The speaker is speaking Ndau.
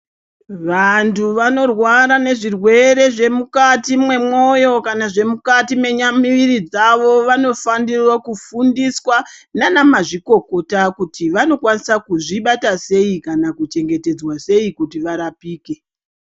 Vantu vanorwara nezvirwere zvemukati memoyo kana zvemukati memuviri dzavo vanofanirwa kufundiswa nana mazvikokota kuti vanokwanisa kuzvibata sei kana kuchetedzwa sei kuti varapike.